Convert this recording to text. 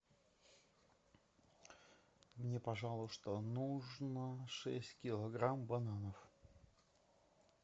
мне пожалуйста нужно шесть килограмм бананов